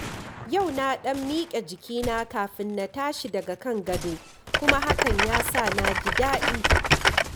Yau na ɗan miƙe jikina kafin na tashi daga gado, kuma hakan ya sa na ji daɗi.